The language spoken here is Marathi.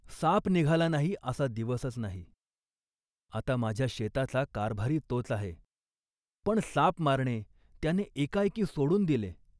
साप निघाला नाही असा दिवसच नाही. आता माझ्या शेताचा कारभारी तोच आहे, पण साप मारणे त्याने एकाएकी सोडून दिले